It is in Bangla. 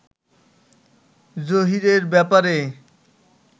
জহীরের ব্যাপারে